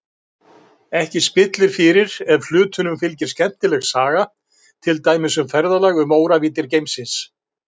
Ekki spillir fyrir ef hlutunum fylgir skemmtileg saga, til dæmis um ferðalag um óravíddir geimsins.